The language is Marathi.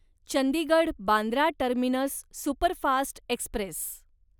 Chandigarh Bandra terminus superfast Express